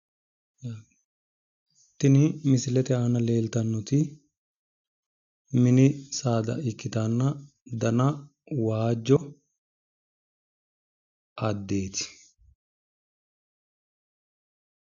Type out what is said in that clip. Tini misilete aana leeltannoti mini saada ikkitanna dana waajjo addeeti